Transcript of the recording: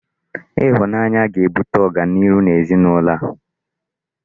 Ịhụnanya ga-ebute ọganihu ezinụlọ a